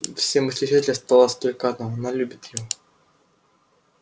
все мысли исчезли осталось только одно она любит его